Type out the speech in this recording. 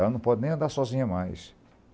Ela não pode nem andar sozinha mais.